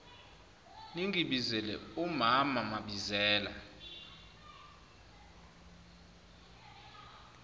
ningibizele umaam mabizela